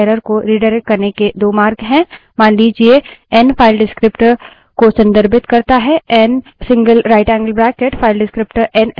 मान लीजिए n file descriptor को संदर्भित करता है n> नरेशनएन single right angled bracket file descriptor n से file तक आउटपुट रिडाइरेक्ट करता है